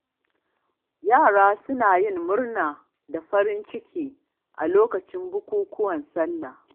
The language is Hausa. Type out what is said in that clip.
Yara suna yin murna da farin ciki a lokacin bukukuwan Sallah.